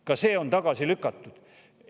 Ka see on tagasi lükatud!